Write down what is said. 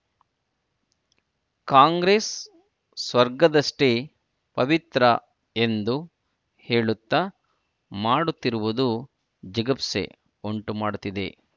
ಕಾಂಗ್ರೆಸ್‌ ಸ್ವರ್ಗದಷ್ಟೇ ಪವಿತ್ರ ಎಂದು ಹೇಳುತ್ತ ಮಾಡುತ್ತಿರುವುದು ಜಿಗುಪ್ಸೆ ಉಂಟುಮಾಡುತ್ತಿದೆ